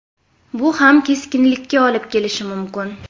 Bu ham keskinlikka olib kelishi mumkin.